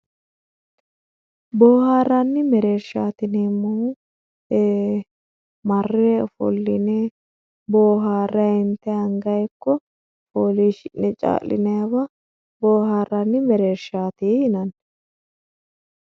boohaarranni mereershaati yineemmohu ee marre ofolline booharray intay angayi ikko foolishshi'ne caa'line hee'naywa boohaarranni mereershshaati yinanni